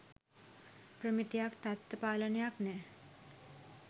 ප්‍රමිතියක් තත්ව පාලනයක් නෑ.